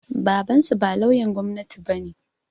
Babansu ba lauyan gwamnati bane